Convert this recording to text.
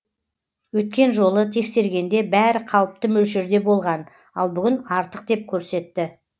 өткен жолы тексергенде бәрі қалыпты мөлшерде болған ал бүгін артық деп көрсетті